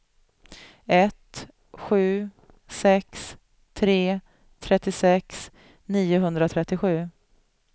ett sju sex tre trettiosex niohundratrettiosju